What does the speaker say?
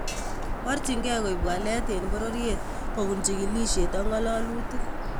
Porchinkeep koip waleet en pororyeet kopun chigilisheet ak ngololutik